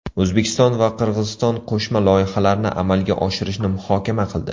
O‘zbekiston va Qirg‘iziston qo‘shma loyihalarni amalga oshirishni muhokama qildi.